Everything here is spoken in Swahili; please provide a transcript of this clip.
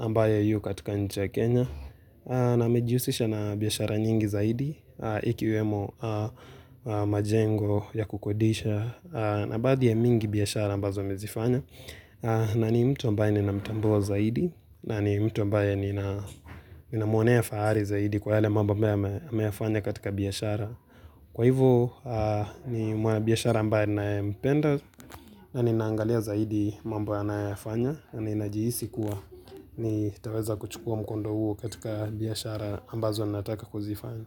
ambaye yu katika nchi ya Kenya na amejihusisha na biashara nyingi zaidi ikiwemo majengo ya kukodisha na baadhi ya mingi biashara ambazo amezifanya na ni mtu ambaye ninamtambua zaidi na ni mtu ambaye ni na muonea fahari zaidi kwa yale mambo ambaye ameyafanya katika biashara. Kwa hivyo ni mwanabiashara ambaye ninayeampenda na ninaangalia zaidi mambo anayofanya na ninajihisi kuwa nitaweza kuchukua mkondo huo katika biashara ambazo ninataka kuzifanya.